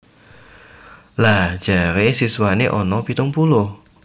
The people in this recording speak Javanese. Lha jare siswane ono pitung puluh?